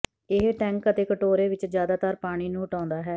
ਇਹ ਟੈਂਕ ਅਤੇ ਕਟੋਰੇ ਵਿੱਚੋਂ ਜ਼ਿਆਦਾਤਰ ਪਾਣੀ ਨੂੰ ਹਟਾਉਂਦਾ ਹੈ